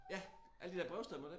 Ja alle de der brevstemmer dér